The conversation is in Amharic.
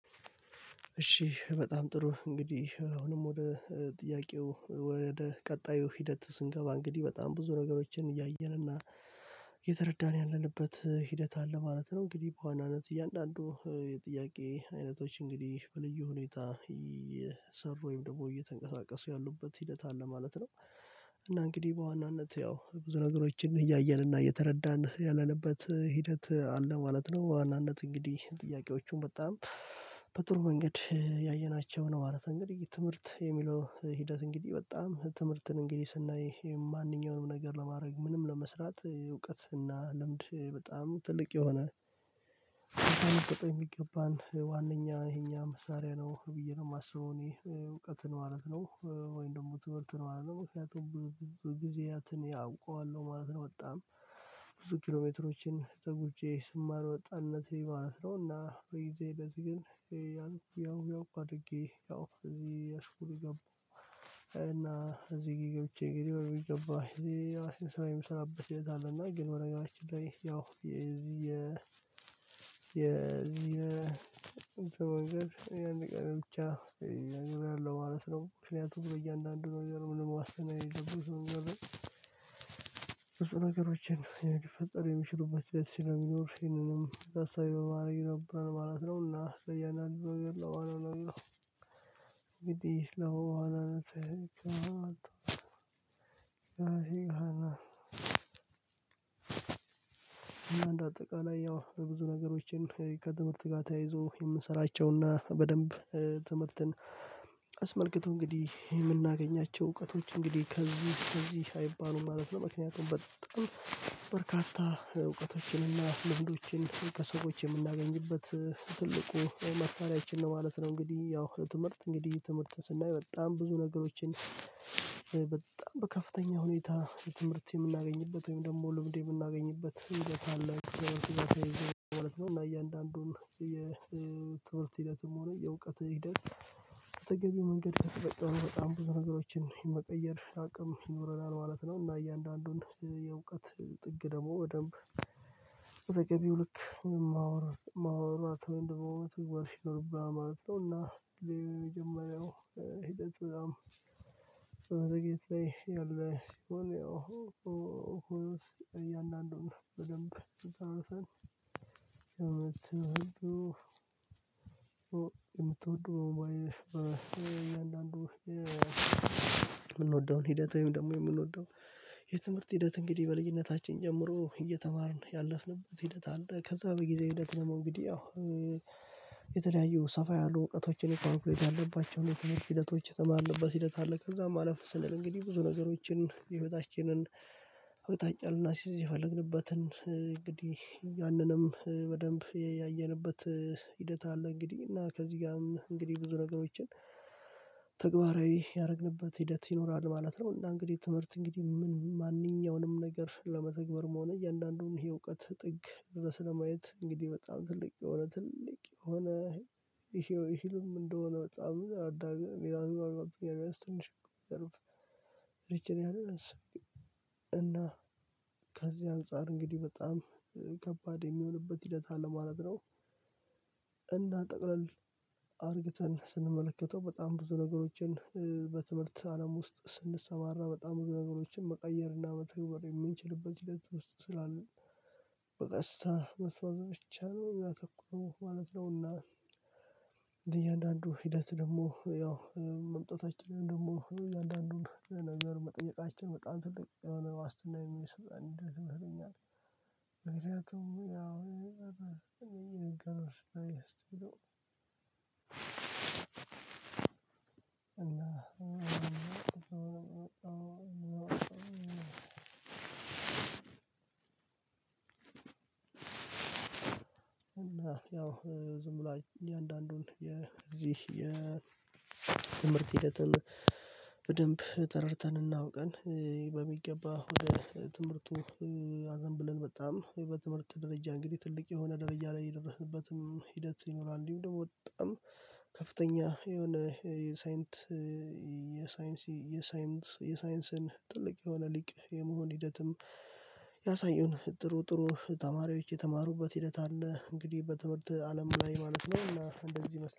እሺ በጣም ጥሩ እንግዲህ አሁንም ወደ ጥያቄው ወደ ቀጣዩ ሂደት ስንገባ እንግዲህ በጣም ብዙ ነገሮችን እያየን እና የተረዳን ያለንበት ሂደት አለ ማለት ነው። እንግዲህ በዋናነት እያንዳንዱ የጥያቄ አይነቶች እንግዲህ በልዩ ሁኔታ እየሰሩ ወይም ደግሞ እየተንቀሳቀሱ ያሉበት ሂደት አለ ማለት ነው። እና እንግዲህ በዋናነት ያው ብዙ ነገሮችን እያየን እና እየተረዳን ያለንበት ሂደት አለ ማለት ነው በዋናነት እንግዲህ ጥያቄዎቹን በጣም በጥሩ መንገድ እያየናቸው ነው ማለት ነው። እንግዲህ ትምህርት የሚለው ሂደት እንግዲህ በጣም ትምህርትን እንግዲህ ስናይ ማንኛውንም ነገር ለማድረግ ምንም ለመስራት እውቀት እና ልምድ በጣም ትልቅ የሆነ የሚገባን ዋናኛ የኛ መሳሪያ ነው ብዬ ነው የማስበው። እኔ እውቀትን ማለት ነው ወይም ደግሞ ትምህርት ነው ማለት ነው ምክንያቱም ብዙ ጊዜያትን ያውቀዋል ማለት ነው። በጣም ብዙ ኪሎሜትሮችን ተጉቼ ስማር ወጣነቴ ማለት ነው። እና በጊዜ ሂደት ግን የን ያው አድርጌ ያው እዚህ አስፉር ገቡ። እና እዚህ ገብቼ እንግዲህ በሚገባ እዚኛ ስራ የምሰራበት ቤት አለ እና ግን በነገራችን ላይ ያው የዚህ የየእንትኖች የአንድ ቀን ብቻ ያለው ማለት ነው። ምክንያቱም በእያንዳንዱ ነገር ምንም ዋስትና የሌለበት ነገር ነው ብዙ ነገሮችን ሊፈጠር የሚችሉበት ቤት ሲሚኖር ይሄንንም ታሳቢ በማረግ ነበር ማለት ነው። እና ለየአንዳንዱነገር እንግዲህ እና አንድ አጠቃላይ ያው ብዙ ነገሮችን ከትምህርት ጋር ተያይዞ የምንሰላቸውና በደንብ ትምህርትን አስመልክቶ እንግዲህ የምናገኛቸው እውቀቶች እንግዲህ ከዚህ ከዚህ አይባሉም ማለት ነው። ምክንያቱም በጣም በርካታ እውቀቶችን እና ልምዶችን ከሰዎች የምናገኝበት ትልቁ መሳሪያችን ነው ማለት ነው። እንግዲህ ያው ትምህርት እንግዲህ ትምህርት ስናይ በጣም ብዙ ነገሮችን በከፍተኛ ሁኔታ ትምህርት የምናገኝበት ወይም ደግሞ ልብድ የምናገኝበት ሂደት አለ። እና እያንዳንዱን የትምህርት ሂደትም ሆነ የእውቀት ሂደት መንገድ በጣም በጣም ብዙ ነገሮችን የመቀየር አቅም ይኖረናል ማለት ነው። እና እያንዳንዱን የእውቀት ጥግ ደግሞ በደምብ በተገቢው ልክ የማወራው የማወራት ወይም ደግም እንደማወራው ትጓሽ ይኖርብሃል ማለት ነው። እና የመጀመሪያው ሂደት በጣም መዘግየት ላይ ያለ ሲሆን ያው እያንዳንዱን በደንብ አጣርተን ለምትወደው የምትወደው እያንዳንዱ የምንወደውን ሂደት ወይም ደግሞ የምንወደው የትምህርት ሂደት እንግዲህ በልዩነታችን ጀምሮ እየተማርን ያለፍንበት ሂደት አለ። ከዛ በጊዜ ሂደት ደግሞ እንግዲህ ያው የተለያዩ ሰፋ ያሉ እውቀቶችን ካልኩሌት ያለባቸውን ሂደቶች የተማርኩበት ሂደት አለ። ከዛ አለፍ ስንል እንግዲህ ብዙ ነገሮችን የህይወታችንን አቅጣጫ ልናስይዝ የፈለግንበትን እንግዲህ ያንንም በደንብ ያየንበት ሂደት አለ። እንግዲህ እና ከዚህ ጋር እንግዲህ ብዙ ነገሮችን ተግባራዊ ያደረግንበት ሂደት ይኖራል ማለት ነው። እና እንግዲህ ትምህርት እንግዲህ ምን ማንኛውንም ነገር ለመተግበር መሆኑ የእያንዳንዱን የእውቀት ጥግ ድረስ ለማየት እንግዲህ በጣም ትልቅ የሆነ ትልቅ የሆነ ይሄው ህልም እንደሆነ በጣም የተረዳ ኣለ ሌላውን ከዚህ አንፃር እንግዲህ በጣም ከባድ የሚሆንበት ሂደት አለ ማለት ነው። እንዳ ጠቅልል አድርገን ስንመለከተው በጣም ብዙ ነገሮችን በትምህርት አለም ውስጥ ስንሰማራ በጣም ነገሮችን መቀየርና መተግበር የምንችልበት ሂደት ውስጥ ስላለ በቀሳታ መስዋዕቶቻችን አሉ ሚያተኩሩ ማለት ነውና። አንዳንዱ ሂደት ደግሞ ያው መምጣታችንን ደግሞ እያንዳንዱን ለነገር መጠየቃችን በጣም ትልቅ የሆነ ዋስትና የሚሰማን ንዴት ይመስለኛል። ምክንያቱም ያው የነገሩት ስላየሁት ነው። እና እና ያው ዝም ብሎ እኔ አንዳንዱን የዚህ የትምህርት ሂደትን በደንብ ተረድተን እናአውቀን በሚገባ ወደ ትምህርቱ አዘንብለን በጣም በትምህርት ደረጃ እንግዲህ ትልቅ የሆነ ድርጅት ላይ የደረህንበትም ሂደት ይኖራል። እንዲሁም ደግሞ በጣም ከፍተኛ የሆነ የሳይንት የሳይንስ የሳይንስን ትልቅ የሆነ ሊቅ የመሆን ሂደትም ያሳየውን ጥሩ ጥሩ ተማሪዎች የተማሩበት ሂደት አለ እንግዲህ በትምህርት አለም ላይ ማለት ነው። እና እንደዚህ